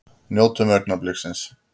Njótum augnabliksins!